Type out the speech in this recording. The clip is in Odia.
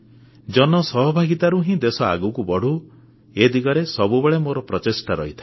ଜନ ସହଭାଗିତାରୁ ହିଁ ଦେଶ ଆଗକୁ ବଢ଼ୁ ଏ ଦିଗରେ ସବୁବେଳେ ମୋର ପ୍ରଚେଷ୍ଟା ରହିଥାଏ